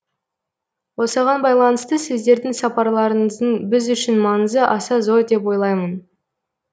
осыған байланысты сіздердің сапарларыңыздың біз үшін маңызы аса зор деп ойлаймын